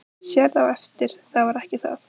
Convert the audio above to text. Sérð á eftir það var ekki það.